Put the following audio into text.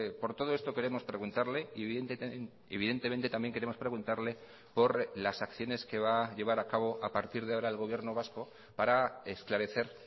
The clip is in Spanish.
por todo esto queremos preguntarle y evidentemente también queremos preguntarle por las acciones que va a llevar a cabo a partir de ahora el gobierno vasco para esclarecer